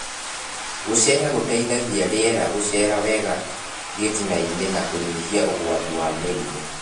Gũceha gũteithagia rĩera gũcera wega gĩtinainĩ na kũnyihia ũgwati wa mĩrimũ